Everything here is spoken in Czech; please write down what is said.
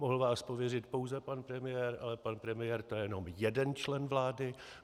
Mohl vás pověřit pouze pan premiér, ale pan premiér, to je jen jeden člen vlády.